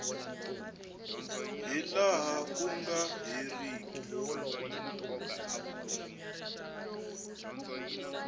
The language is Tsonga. hi laha ku nga heriki